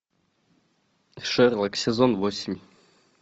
шерлок сезон восемь